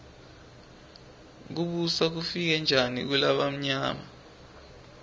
kubusa kufike njani kulabamyama